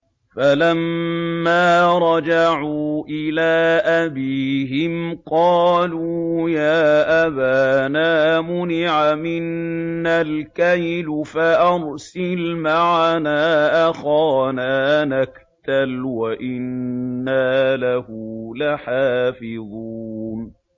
فَلَمَّا رَجَعُوا إِلَىٰ أَبِيهِمْ قَالُوا يَا أَبَانَا مُنِعَ مِنَّا الْكَيْلُ فَأَرْسِلْ مَعَنَا أَخَانَا نَكْتَلْ وَإِنَّا لَهُ لَحَافِظُونَ